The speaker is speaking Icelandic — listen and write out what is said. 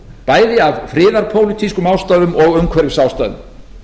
farartækja bæði af friðarpólitískum ástæðum og umhverfisástæðum